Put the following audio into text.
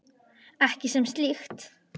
Ekki sem slíkt.